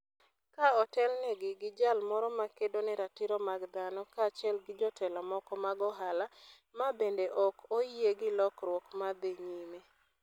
Ka otelnegi gi jal moro ma kedo ne ratiro mag dhano kaachiel gi jotelo moko mag ohala, ma bende ok oyie gi lokruok ma dhi nyime.